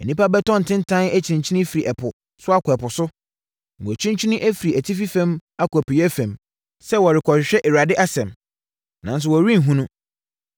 Nnipa bɛtɔ ntentan akyinkyin firi ɛpo so akɔ ɛpo so na wɔakyinkyini afiri atifi fam akɔ apueeɛ fam, sɛ wɔrekɔhwehwɛ Awurade asɛm, nanso wɔrenhunu.